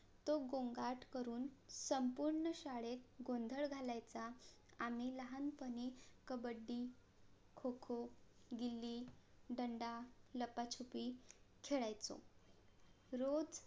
तो गोंगाट करून संपूर्ण शाळेत गोंधळ घालायचा आम्ही लहानपणी कबड्डी खोखो गिली दंडा लपाछुपी खेळायचो रोज